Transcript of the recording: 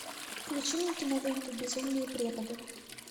включи мне киноленту безумные преподы